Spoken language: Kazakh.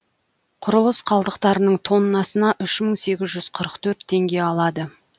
құрылыс қалдықтарының тоннасына үш мың сегіз жүз қырық төрт теңге алады